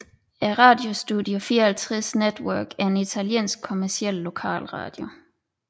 Radio Studio 54 Network er en italiensk kommerciel lokalradio